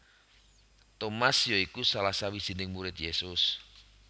Tomas ya iku salah sawijining murid Yesus